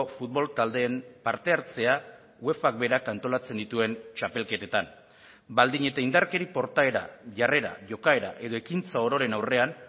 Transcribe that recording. futbol taldeen parte hartzea uefak berak antolatzen dituen txapelketetan baldin eta indarkeri portaera jarrera jokaera edo ekintza ororen aurrean